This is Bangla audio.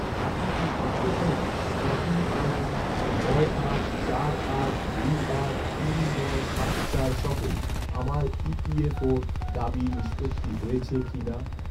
আপনি কি দেখতে পারেন, ট্র্যাকিং আইডি নয় আট চার আট দুই আট তিন নয় সাত চার সহ, আমার ই.পি.এফ.ওর দাবি নিষ্পত্তি হয়েছে কিনা?